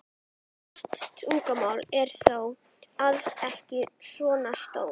Flest tunglanna eru þó alls ekki svona stór.